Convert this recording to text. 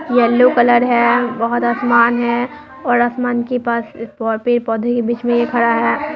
Yellow colour है बोहोत आसमान है और आसमान के पास और पेड़-पौधे के बीच में ये खड़ा है।